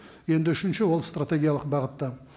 енді үшінші ол стратегиялық бағытта